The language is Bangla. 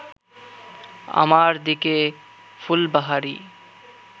আমার দিকে ফুলবাহারি